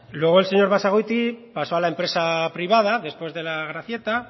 luego el señor basagoiti pasó a la empresa privada después de la gracieta